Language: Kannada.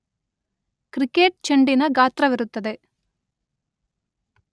ಕ್ರಿಕೆಟ್ ಚೆಂಡಿನ ಗಾತ್ರವಿರುತ್ತದೆ.